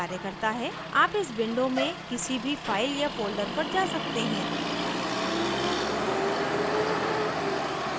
आप इस window से किसी भी file या folder पर जा सकते हैं